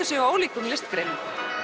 sig á ólíkum listgreinum